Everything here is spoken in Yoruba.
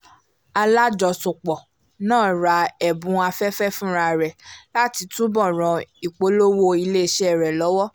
alájọsọpọ̀ náà ra ẹ̀bùn afẹ́fẹ́ fúnra rẹ̀ láti túbò̀ ràn ìpolówó ilé-iṣẹ́ rẹ lọ́wọ́